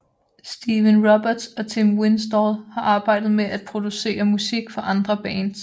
Stephen Roberts og Tim Winstall har arbejdet med at producere musik for andre bands